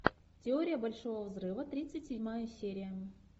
теория большого взрыва тридцать седьмая серия